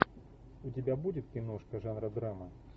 у тебя будет киношка жанра драма